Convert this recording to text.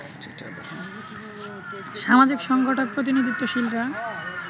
সামাজিক সংগঠক প্রতিনিধিত্বশীলরা